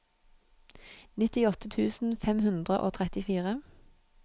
nittiåtte tusen fem hundre og trettifire